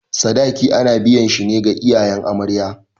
Sadaki ana biyan shi ne ga iyayen amarya.